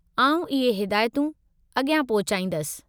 आउं इहे हिदायतूं अॻियां पहुचाईंदसि।